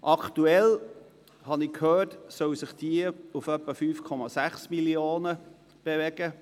Aktuell belaufen sich diese, wie ich gehört habe, auf etwa 5,6 Mio. Franken.